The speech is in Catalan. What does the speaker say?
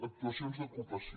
actuacions d’ocupació